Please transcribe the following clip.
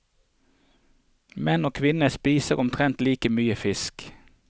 Menn og kvinner spiser omtrent like mye fisk.